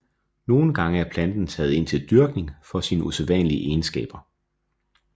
Nogle gange er planten taget ind til dyrkning for sine usædvandlige egenskaber